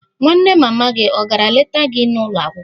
Nwanne mama gị ọ̀ gara leta gị n'ụlọ akwụkwọ?